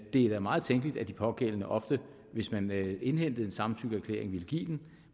er da meget tænkeligt at de pågældende ofte hvis man indhentede en samtykkeerklæring ville give den